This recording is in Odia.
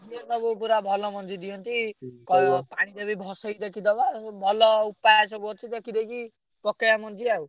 ସେ ସବୁ ପୁରା ଭଲ ମଞ୍ଜି ଦିଅନ୍ତି। ପାଣିରେ ବି ଭସେଇ ଦେଖିଦବା ଭଲ ଉପାୟ ସବୁ ଅଛି ଦେଇଦେଇକି, ପକେଇଆ ମଞ୍ଜି ଆଉ।